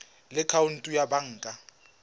le khoutu ya banka fa